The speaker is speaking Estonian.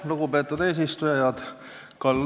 Lugupeetud eesistuja!